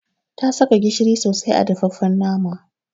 Ta saka gishiri sosai a dafaffen naman.